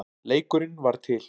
Leikurinn varð til.